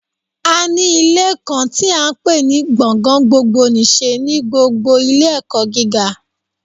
A ní Ilé kan tí à n pè ní gbọ̀ngàn gbogbo nìse ní gbogbo Ilé ẹ̀kọ́ gíga